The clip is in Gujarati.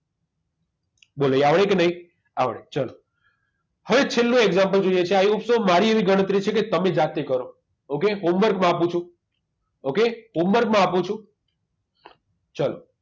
બોલો આવડે કે નહી આવડે ચલો હવે છેલ્લું example જોઈએ છે i hope so મારી એવી ગણતરી છે કે તમે જાતે ગણો okay homework માં આપું છું okayhomework માં આપું છું ચલો